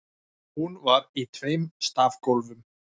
Hún var í tveim stafgólfum.